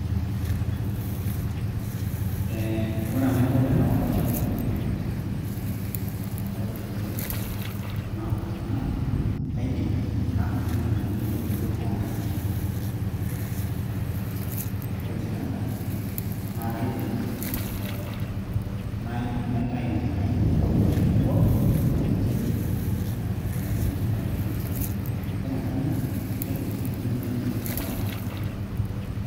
ee ore enaiko tenaworr olchamba lai toonkaitubulu napaasha naa kaidim nadotu nena aitubulu toonkaik ore sii enkay naa kaidim naitai nena kaitubulu ashu aworr tenchembe aing'oa tenchembe ashu aitayu tenchembe ore enkay naa kaidim sii aitumia olchani oorr nena kaitubulu.